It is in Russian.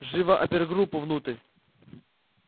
живо опергруппу внутрь